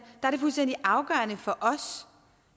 er det fuldstændig afgørende for os